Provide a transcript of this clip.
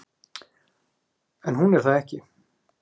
En hún er það ekki.